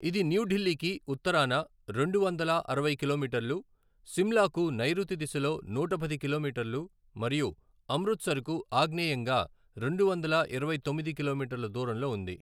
ఇది న్యూఢిల్లీకి ఉత్తరాన రెండువందల అరవై కిలోమీటర్లు, సిమ్లాకు నైరుతి దిశలో నూట పది కిలోమీటర్లు మరియు అమృత్సర్కు ఆగ్నేయంగా రెండువందల ఇరవై తొమ్మిది కిలోమీటర్ల దూరంలో ఉంది.